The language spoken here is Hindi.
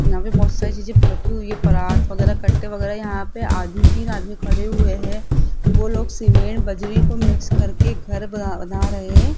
यहां पे बहुत सारी चीजें रखी हुई हैं परात वगैरह कट्टे वगैरह यहां पे आदमी तीन आदमी खड़े हुए हैं वो लोग सीमेंट बजरी को मिक्स करके घर बना रहे हैं।